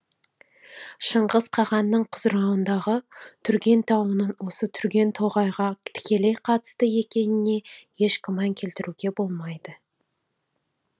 шыңғыс қағанның құзауырындағы түрген тауының осы түрген тоғайға тікелей қатысты екеніне еш күмән келтіруге болмайды